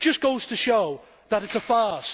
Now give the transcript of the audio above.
It just goes to show that it is a farce.